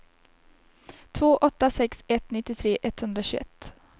två åtta sex ett nittiotre etthundratjugoett